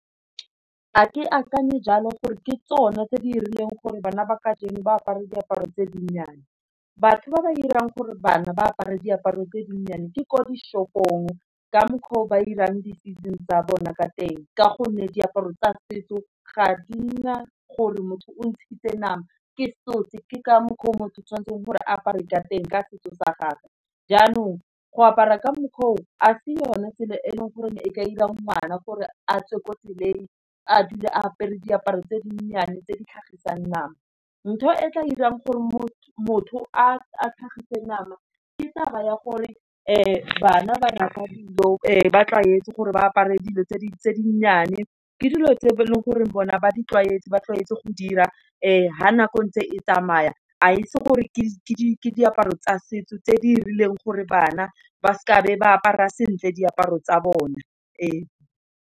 Ga akanye jalo gore ke tsone tse di rileng gore bana ba kajeno ba apare diaparo tse dinnyane, batho ba ba irang gore bana ba apare diaparo tse dinnyane di ko di shopong ka mokgwa o ba irang di-business tsa bona ka teng, ka gonne diaparo tsa setso ga ka di na gore motho o ntshitse nama ke tshotse ke ka mokgwa o motho o tshwanetseng gore apare ka teng ka setso sa gagwe. Jaanong go apara ka mokgwa o a se yone tsela e leng gore e ka ira ngwana gore a tswe ko tseleng, a dule apere diaparo tse dinnyane, tse di tlhagisang nama. ntho e tla irang gore motho a tlhagiseng nama, ke taba ya gore bana ba tlwaetse gore ba apare dilo tse dinnyane, ke dilo tse e leng gore bona ba di tlwaetse ba tlwaetse go di ira fa nako e ntse e tsamaya a itse gore ke diaparo tsa setso, tse di rileng gore bana ba seke ba apara sentle diaparo tsa bona ee.